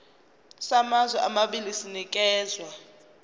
samazwe amabili sinikezwa